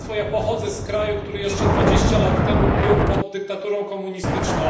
Pochodzę z kraju, który jeszcze 20 lat temu był pod dyktaturą komunistyczną.